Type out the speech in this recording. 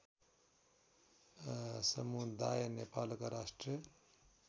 समुदाय नेपालका राष्ट्रिय